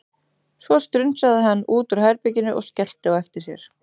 Svo strunsaði hann út úr herbeginu og skellti á eftir sér.